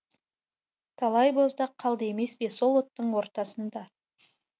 талай боздақ қалды емес пе сол оттың ортасында